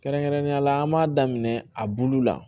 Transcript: Kɛrɛnkɛrɛnnenya la an b'a daminɛ a bulu la